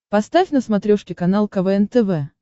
поставь на смотрешке канал квн тв